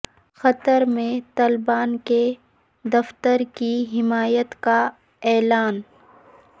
قطر میں طالبان کے دفتر کی حمایت کا اعلان